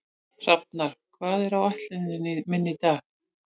Hrafnar, hvað er á áætluninni minni í dag?